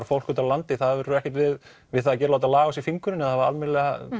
fólk úti á landi hafi ekkert við við það að gera að láta laga á sér fingurinn eða hafa almennilega